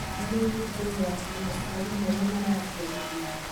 harĩ gũtigĩrĩra atĩ maciari marĩa maraciarithi